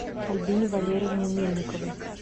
альбине валерьевне мельниковой